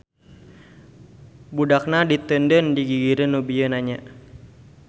Budakna diteundeun di gigireun nu bieu nanya.